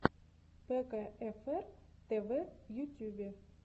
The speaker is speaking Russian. пэкаэфэр тэвэ в ютьюбе